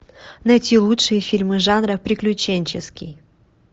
найти лучшие фильмы жанра приключенческий